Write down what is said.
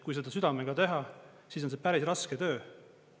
Kui seda südamega teha, siis on see päris raske töö.